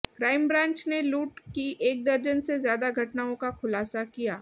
crime branch ने लूट की एक दर्जन से ज्यादा घटनाओं का खुलासा किया